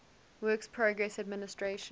works progress administration